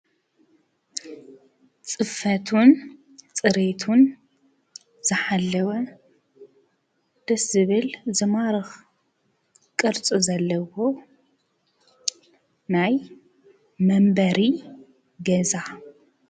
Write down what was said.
ፅፈቱን ፅሬቱን ዝሓለወ ደስ ዝብል ዝማርክ ቅርፂ ዘለዎ ናይ መንበሪ ገዛ ።